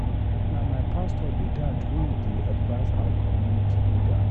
Na my pastor be that wey dey advice our community leader